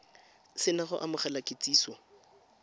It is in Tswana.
se na go amogela kitsiso